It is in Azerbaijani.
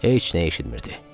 Heç nə eşitmirdi.